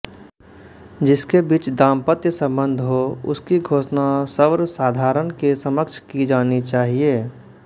जिनके बीच दाम्पत्य सम्बन्ध हो उसकी घोषणा सवर्साधारण के समक्ष की जानी चाहिए